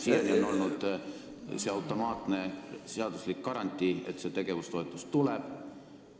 Siiani on olnud automaatne seaduslik garantii, et see tegevustoetus tuleb.